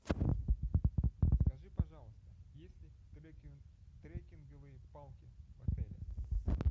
скажи пожалуйста есть ли треккинговые палки в отеле